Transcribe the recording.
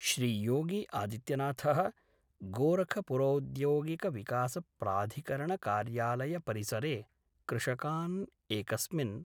श्रीयोगी आदित्यनाथ: गोरखपुरौद्योगिकविकासप्राधिकरणकार्यालयपरिसरे कृषकान् एकस्मिन्